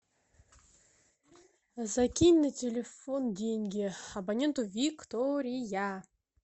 закинь на телефон деньги абоненту виктория